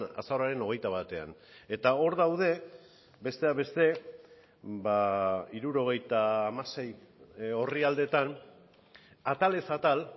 azaroaren hogeita batean eta hor daude besteak beste hirurogeita hamasei orrialdeetan atalez atal